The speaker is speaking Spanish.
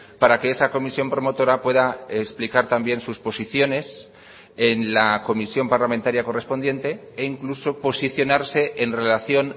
para que esa comisión promotora pueda explicar también sus posiciones en la comisión parlamentaria correspondiente e incluso posicionarse en relación